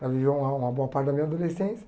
Ela viveu uma uma boa parte da minha adolescência.